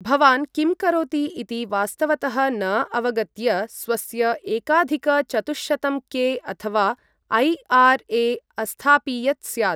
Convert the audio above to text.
भवान् किं करोति इति वास्तवतः न अवगत्य स्वस्य एकाधिक चतुःशतं के अथवा ऐ आर् ए अस्थापियत् स्यात्।